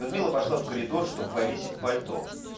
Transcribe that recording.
людмила пошла в коридор чтоб повесить пальто